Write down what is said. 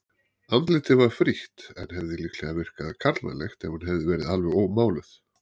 Andlitið var frítt en hefði líklega virkað karlmannlegt ef hún hefði verið alveg ómáluð.